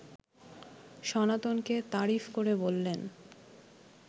সনাতনকে তারিফ করে বললেন